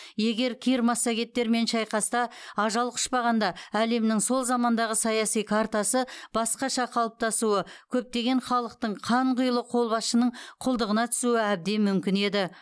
егер кир массагеттермен шайқаста ажал құшпағанда әлемнің сол замандағы саяси картасы басқаша қалыптасуы көптеген халықтың қанқұйлы қолбасшының құлдығына түсуі әбден мүмкін еді